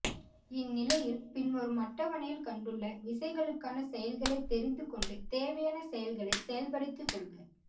இந்நிலையில் பின்வரும் அட்டவணையில் கண்டுள்ள விசைகளுக்கான செயல்களை தெரிந்து கொண்டு தேவையான செயல்களை செயல்படுத்தி கொள்க